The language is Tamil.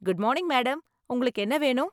குட் மார்னிங் மேடம், உங்களுக்கு என்ன வேணும்?